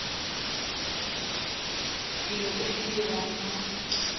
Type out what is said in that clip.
dilo tse di diriwang mo